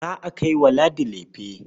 Za a kai wa Ladi lefe.